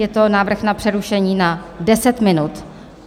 Je to návrh na přerušení na 10 minut.